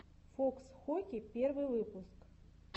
фокс хоки первый выпуск